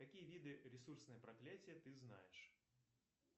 какие виды ресурсное проклятие ты знаешь